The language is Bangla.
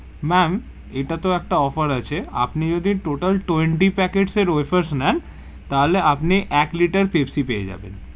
Ma'am ইটা তে একটা offer আছে আপনি যদি total twenty packet এর wafers নেন, তাহলে আপনি এক liter পেপসি পেয়ে যাবেন.